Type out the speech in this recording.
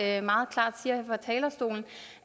at jeg meget klart siger fra talerstolen